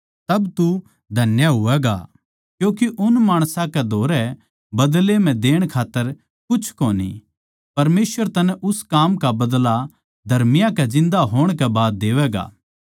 तब तू धन्य होवैगा क्यूँके उन माणसां कै धोरै बदले म्ह देण खात्तर कुछ कोनी परमेसवर तन्नै उस काम का बदला धर्मियाँ कै जिन्दा होण के बाद देवैगा